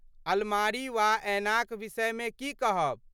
अलमारी वा ऐनाक विषयमे की कहब?